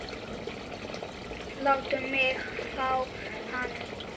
Láttu mig fá hann.